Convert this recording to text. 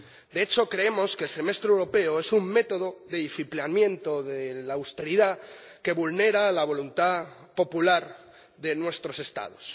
De hecho, creemos que el Semestre Europeo es un método de disciplinamiento de la austeridad que vulnera la voluntad popular de nuestros Estados.